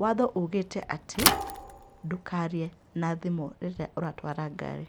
waatho ugĩte atĩ, ndũkaarie na thimũ rĩrĩa ũratwara ngari.